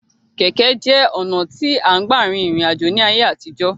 Kẹ̀kẹ́ jẹ́ ọ̀nà tí à ń gbà rin ìrìn àjò ní ayé àtijó.